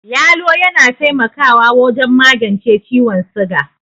Yalo yana taimakawa wajen magence ciwon siga.